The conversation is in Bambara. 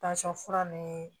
fura ni